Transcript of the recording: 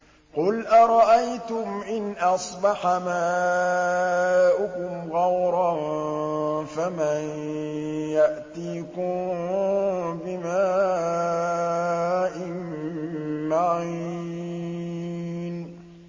قُلْ أَرَأَيْتُمْ إِنْ أَصْبَحَ مَاؤُكُمْ غَوْرًا فَمَن يَأْتِيكُم بِمَاءٍ مَّعِينٍ